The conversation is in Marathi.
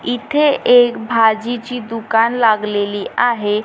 इथे एक भाजीची दुकान लागलेली आहे.